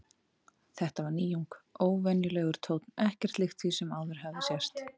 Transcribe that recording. Þetta var nýjung, óvenjulegur tónn, ekkert líkt því sem áður hafði sést.